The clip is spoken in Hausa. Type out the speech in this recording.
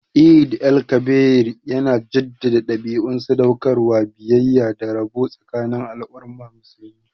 Eid el-Kabir yana jaddada dabi'un sadaukarwa, biyayya, da rabo tsakanin al'ummar musulmi